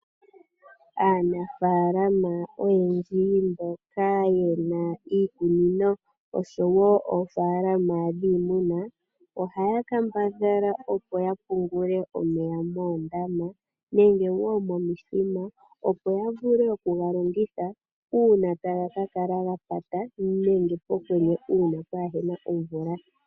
Aanangesha oyendji mboka ye na iikunino oshowo oofalama dhiimuna ohaya kambadhala opo ya pungule oomeya moondama nenge momithima opo ya vule oku ga longitha uuna taga ka kala ga pata nenge pokwenye uuna ka ku na omvula.